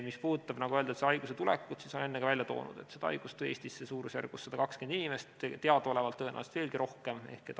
Mis puudutab selle haiguse tulekut, siis olen ka enne välja toonud, et selle haiguse tõi Eestisse suurusjärgus 120 inimest teadaolevalt, tõenäoliselt veelgi rohkem inimesi.